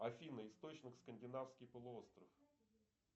афина источник скандинавский полуостров